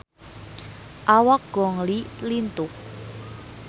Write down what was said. Awak Gong Li lintuh